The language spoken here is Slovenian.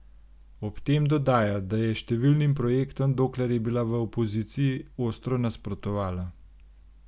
Ob tem dodaja, da je številnim projektom dokler je bila v opoziciji, ostro nasprotovala.